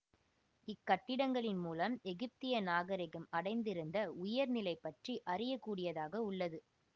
இக் கட்டிடங்களின் மூலம் எகிப்திய நாகரிகம் அடைந்திருந்த உயர் நிலை பற்றி அறியக் கூடியதாக உள்ளது